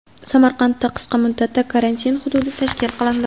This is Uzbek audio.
Samarqandda qisqa muddatda karantin hududi tashkil qilindi.